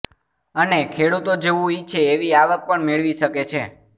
અને ખેડૂતો જેવું ઈચ્છે એવી આવક પણ મેળવી શકે છે